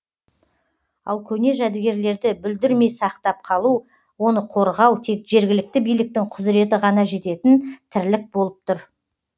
ал көне жәдігерлерді бүлдірмей сақтап қалу оны қорғау тек жергілікті биліктің құзыреті ғана жететін тірлік болып тұр